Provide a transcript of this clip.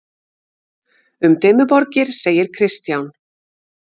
Um Dimmuborgir segir Kristján: